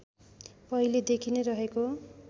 पहिलेदेखि नै रहेको